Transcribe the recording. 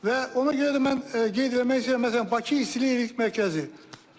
Və ona görə də mən qeyd eləmək istəyirəm, məsələn Bakı istilik elektrik mərkəzi.